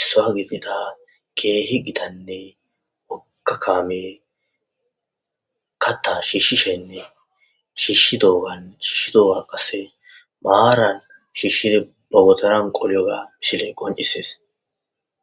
issaa gidida keehi gitanne wokka kaame katta shiishshishenne shiishshi doogan shishshi dooga qasse maaran shiishshide bawotoran qoliyoga misile qon7isees